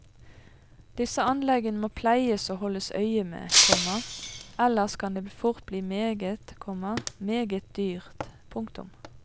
Disse anleggene må pleies og holdes øye med, komma ellers kan det fort bli meget, komma meget dyrt. punktum